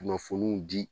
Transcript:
Kunnafoniw di